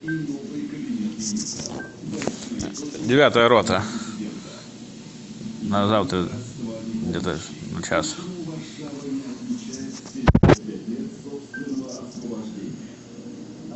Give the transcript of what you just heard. девятая рота на завтра где то в час